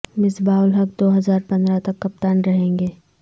مصباح الحق دو ہزار پندرہ تک کپتان رہیں گے